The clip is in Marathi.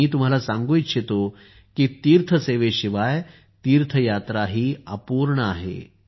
आणि मी तुम्हाला सांगू इच्छितो की तीर्थ सेवेशिवाय तीर्थयात्राही अपूर्ण आहे